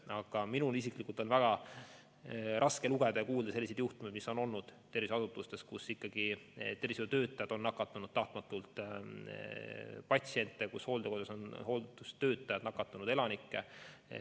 Aga minul isiklikult on väga raske lugeda ja kuulda juhtumitest, mida on terviseasutustes olnud, kui tervishoiutöötajad on nakatanud patsiente või hooldekodus on hooldustöötajad nakatanud elanikke.